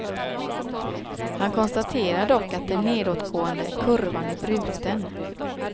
Han konstaterar dock att den nedåtgående kurvan är bruten.